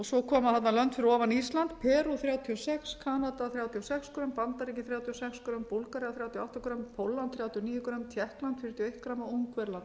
svo koma þarna lönd fyrir ofan ísland perú þrjátíu og sex kanada þrjátíu og sex grömm bandaríkin þrjátíu og sex grömm búlgaría þrjátíu og átta grömm pólland þrjátíu og níu grömm tékkland fjörutíu og